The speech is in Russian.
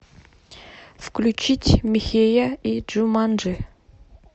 включить михея и джуманджи